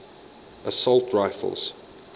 assault rifles